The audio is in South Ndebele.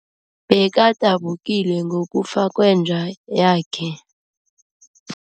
Bekadabukile ngokufa kwenja yakhe.